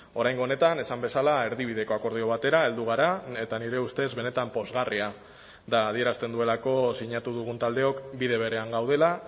oraingo honetan esan bezala erdibideko akordio batera heldu gara eta nire ustez benetan pozgarria da adierazten duelako sinatu dugun taldeok bide berean gaudela